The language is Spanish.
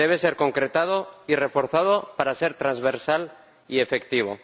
Debe ser concretado y reforzado para ser transversal y efectivo.